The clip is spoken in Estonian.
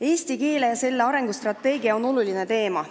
Eesti keel ja selle arengu strateegia on oluline teema.